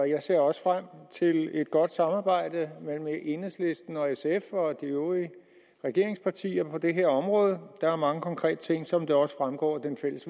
jeg ser også frem til et godt samarbejde mellem enhedslisten og sf og de øvrige regeringspartier på det her område der er mange konkrete ting som det også fremgår af det fælles